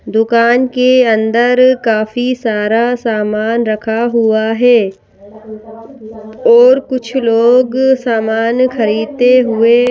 दुकान के अंदर काफी सारा सामान रखा हुआ है। और कुछ लोग सामान खरीदते हुए--